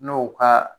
N'o ka